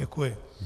Děkuji.